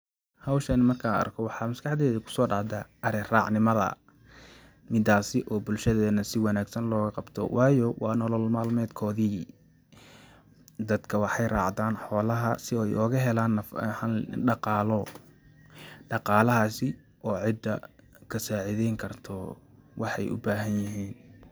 Howshan markan arko waxa maskaxteydha kuso dacdhaa aari raac nimadha, midaasi oo bulshadheena si wanagsan looga qabto waayo wa nolol malmedkoodhi. Dadka waxaay raacdan xolaha si ay ogahelaan daqaalo, daqalahasi oo cida kasacidheynkarto waxaay u bahanyihin.